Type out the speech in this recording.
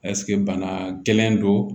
Ɛseke bana gɛlɛn don